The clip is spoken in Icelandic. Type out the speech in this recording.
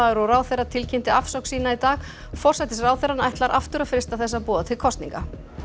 og ráðherra tilkynnti afsögn sína í dag forsætisráðherrann ætlar aftur að freista þess að boða til kosninga